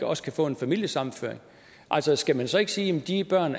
også kan få en familiesammenføring altså skal man så ikke sige at de børn